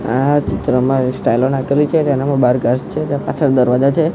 આ ચિત્રમાં સ્ટાઈલો નાખેલી છે તેનામાં બાર ઘાસ છે ત્યાં પાછળ દરવાજા છે.